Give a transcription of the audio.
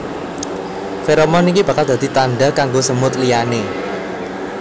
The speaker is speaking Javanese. Feromon iki bakal dadi tanda kanggo semut liyane